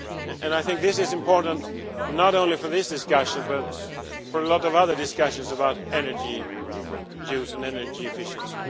And I think this is important not only for this discussion but for a lot of other discussions about energy use and energy efficiency.